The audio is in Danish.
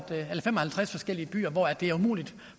halvtreds forskellige byer hvor det er umuligt